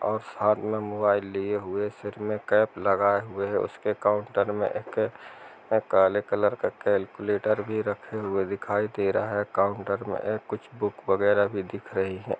--और हाथ मे मोबाईल लिए हुए सिर मे केप लगाए हुए उसके काउंटर मे एक काले कलर का कैलकुलेटर भी रखे हुए दिखाई दे रहा है काउंटर मे कुछ बुक वगेरा भी दिख रही है।